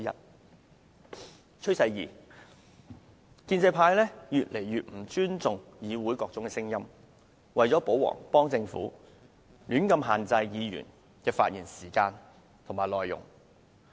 第二個趨勢，是建制派越來越不尊重議會內的各種聲音，為了"保皇"和幫助政府，胡亂限制議員的發言時間和內容。